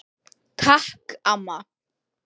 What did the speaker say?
Takk amma.